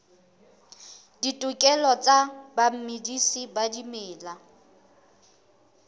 ditokelo tsa bamedisi ba dimela